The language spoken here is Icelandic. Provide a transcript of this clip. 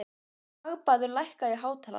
Hagbarður, lækkaðu í hátalaranum.